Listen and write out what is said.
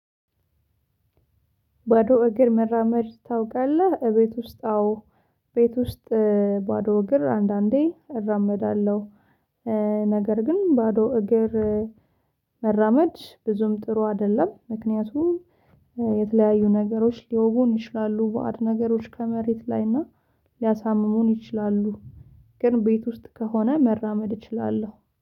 ባዶ እግር መራመድ ታውቃለህ? እቤት ውስጥ አዎ ቤት ውስጥ ባዶ እግር አንዳንዴ እራመዳለሁ ነገር ግን ባዶ እግር መራመድ ብዙም ጥሩ አይደለም ምክንያቱም የተለያዩ ነገሮች ሊወጉን ይችላሉ በአድ ነገሮች ከመሬት ላይ እና ሊያሳምሙን ይችላሉ። ግን ቤት ውስጥ ከሆነ መራመድ እችላለሁ።